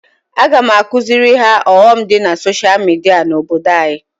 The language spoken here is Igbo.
Aga m akuziri ha ọghọm di na social media na obodo anyi